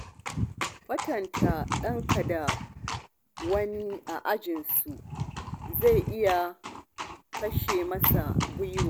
Kwatanta ɗanka da wani a ajinsu, zai iya kashe masa gwiwa.